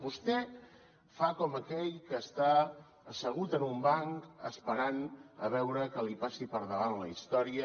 vostè fa com aquell que està assegut en un banc esperant a veure que li passi per davant la història